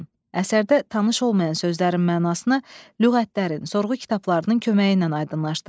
Əsərdə tanış olmayan sözlərin mənasını lüğətlərin, sorğu kitablarının köməyi ilə aydınlaşdırın.